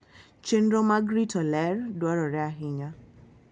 Chenro mag rito ler dwarore ahinya.